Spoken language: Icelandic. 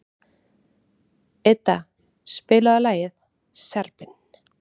Idda, spilaðu lagið „Serbinn“.